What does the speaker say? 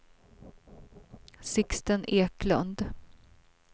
Sixten Eklund